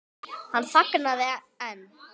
Hann þagnaði en